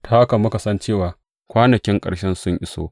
Ta haka muka san cewa kwanakin ƙarshe sun iso.